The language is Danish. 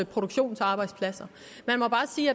produktionsarbejdspladser